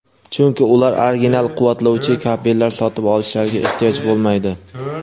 chunki ular original quvvatlovchi kabellar sotib olishlariga ehtiyoj bo‘lmaydi.